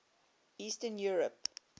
eastern europe